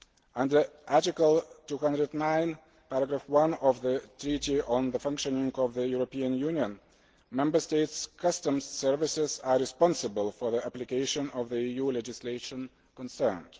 Under Article 209 of the Treaty on the Functioning of the European Union, the Member States' customs services are responsible for the application of the EU legislation concerned.